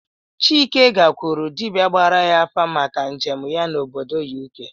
Chike gakwuru dibịa gbara ya afa maka njem ya n'obodo U.K